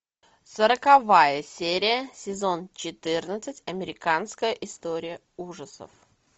сороковая серия сезон четырнадцать американская история ужасов